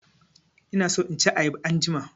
Ina so in ci ayaba anjima.